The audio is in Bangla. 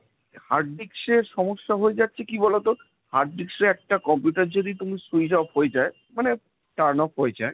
hard disc এর সমস্যা হয়ে যাচ্ছে কি বলতো, hard disc এ একটা computer যদি তুমি switch off হয়ে যায় মানে turn off হয়ে যায়,